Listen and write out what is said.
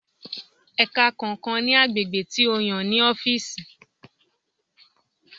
Ẹka kọọkan ni agbegbe ti o yan ni ọfiisi.